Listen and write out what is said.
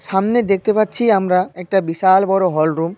সামনে দেখতে পাচ্ছি আমরা একটা বিশাল বড় হল রুম ।